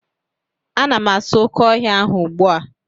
Ana m asụ oke ọhịa ahụ ugbu a